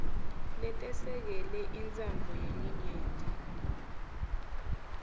letesekele intsandvo yelinyenti